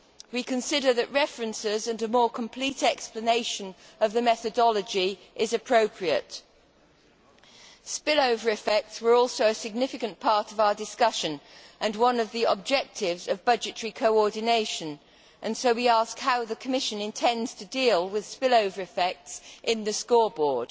We consider that references, and a more complete explanation of the methodology, are appropriate. Spill over effects were also a significant part of our discussion and one of the objectives of budgetary coordination, and so we ask how the Commission intends to deal with spill over effects in the scoreboard.